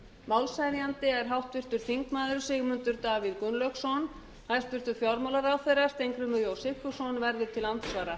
málshefjandi er háttvirtur þingmaður sigmundur davíð gunnlaugsson hæstvirtur fjármálaráðherra steingrímur j sigfússon verður til andsvara